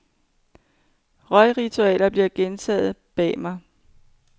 Røgritualet blev gentaget bag mig.